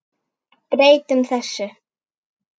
Breytum þessu!